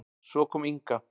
Svo kom Inga.